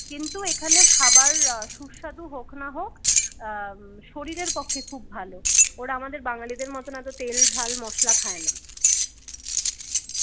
কিন্তু এখানে খাবার সুস্বাদু হোক না হোক উম শরীরের পক্ষে খুব ভালো ওরা আমাদের বাঙ্গালীদের মতন অত তেল ঝাল মসলা খায় না